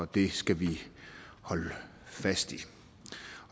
det skal vi holde fast i